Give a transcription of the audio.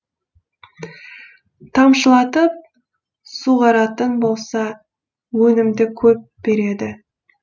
тамшылатып суғаратын болса өнімді көп береді